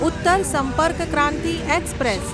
Uttar Sampark Kranti express